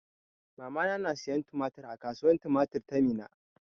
Mamana na siyan tumatir a kasuwan tumatir ta Minna.